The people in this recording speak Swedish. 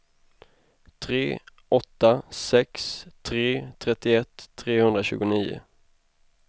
tre åtta sex tre trettioett trehundratjugonio